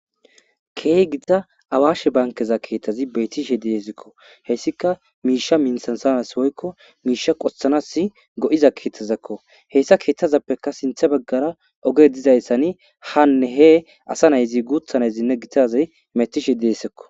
keeh gida awaashe bankeza keeththazi beetishe deesikko hessika miisha mintsan sanas woykko miisha qothanas go7iza keetazakko heyssa keeththazappeka sinthe baggara oge dizayssani hanne he asa nayzi guuthanayzinne gitazay metishe deesekko